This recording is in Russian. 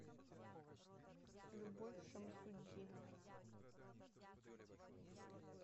любовь шамсутдиновна